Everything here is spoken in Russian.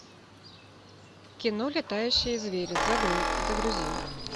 кино летающие звери загрузи